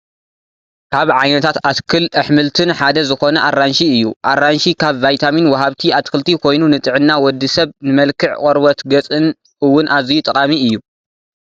ካብ ዓይነታት ኣትክል ኣሕምልትን ሓደ ዝኾነ ኣራንሺ እዩ፡፡ ኣራንሺ ካብ ቫይታሚን ዋሃብቲ ኣትክልቲ ኮይኑ ንጥዕና ወድ ሰብ ንመልክዕ ቆርበት ገፅን እውን ኣዝዩ ጠቓሚ እዩ፡፡